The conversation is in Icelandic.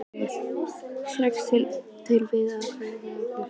Sigurbjörn til við að vélrita skýrsluna.